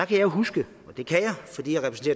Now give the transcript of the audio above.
kan huske og det kan